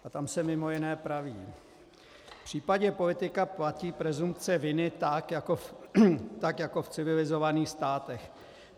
A tam se mimo jiné praví: V případě politika platí presumpce viny tak jako v civilizovaných státech.